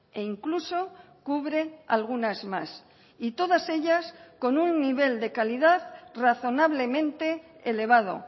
e incluso cubre algunas más y todas ellas con un nivel de calidad razonablemente elevado